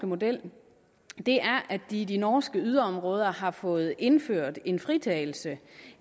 model er at de i de norske yderområder har fået indført en fritagelse